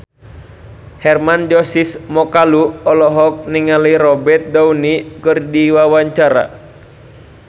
Hermann Josis Mokalu olohok ningali Robert Downey keur diwawancara